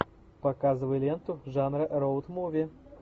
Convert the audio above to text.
показывай ленту жанра роуд муви